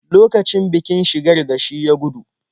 Lokacin bikin-shigar da shi ya gudu.